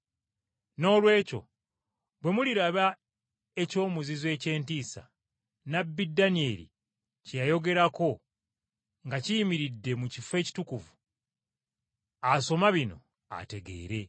“Noolwekyo bwe muliraba ‘eky’omuzizo eky’entiisa,’ nnabbi Danyeri kye yayogerako, nga kiyimiridde mu kifo ekitukuvu asoma bino ategeere,